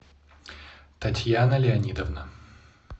татьяна леонидовна